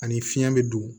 Ani fiɲɛ be don